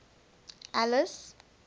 alice